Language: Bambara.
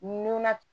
Nunna